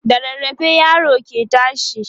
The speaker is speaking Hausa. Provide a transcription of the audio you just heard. da rarrafe yaro ke tashi